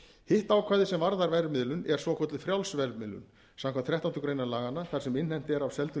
hitt ákvæðið sem varðar verðmiðlun er svokölluð frjáls verðmiðlun samkvæmt þrettándu greinar laganna þar sem innheimt er af seldum